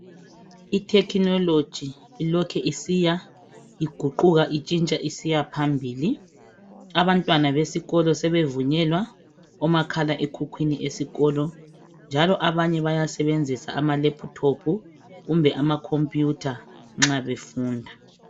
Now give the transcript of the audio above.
I thekhinoloji ilokhe isiya iguquka isiya phambili, abantwana besikolo sebevunyelwa omakhala ekhukhwini esikolo. Njalo abanye baya sebenzisa amalephuthophu kumbe amakhompuyutha nxa befunda.